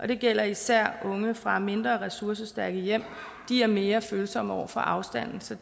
det gælder især unge fra mindre ressourcestærke hjem de er mere følsomme over for afstanden så